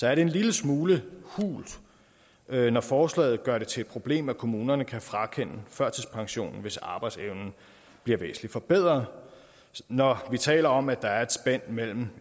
er det en lille smule hult når forslaget gør det til et problem at kommunerne kan frakende førtidspensionen hvis arbejdsevnen bliver væsentligt forbedret når vi taler om at der er et spænd imellem